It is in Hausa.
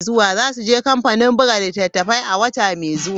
Za su je kamfanin buga littattafai a wata mai zuwa.